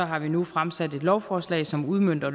har vi nu fremsat et lovforslag som udmønter